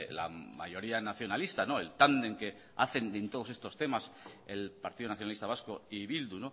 la mayoría nacionalista el tándem que hacen en todos estos temas el partido nacionalista vasco y bildu